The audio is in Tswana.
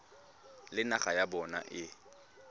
le naga ya bona e